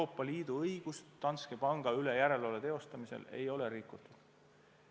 Euroopa Liidu õigust Danske panga üle järelevalve teostamisel ei ole rikutud.